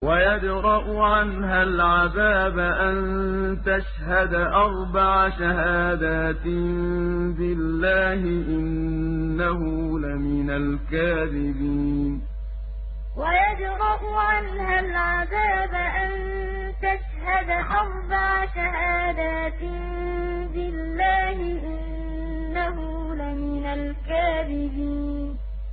وَيَدْرَأُ عَنْهَا الْعَذَابَ أَن تَشْهَدَ أَرْبَعَ شَهَادَاتٍ بِاللَّهِ ۙ إِنَّهُ لَمِنَ الْكَاذِبِينَ وَيَدْرَأُ عَنْهَا الْعَذَابَ أَن تَشْهَدَ أَرْبَعَ شَهَادَاتٍ بِاللَّهِ ۙ إِنَّهُ لَمِنَ الْكَاذِبِينَ